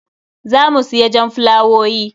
Za mu siya jan fulawowi.